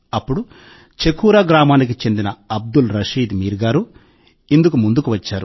అప్పుడు చకూరా గ్రామానికి చెందిన అబ్దుల్ రషీద్ మీర్ గారు ఇందుకు ముందుగా ముందుకు వచ్చారు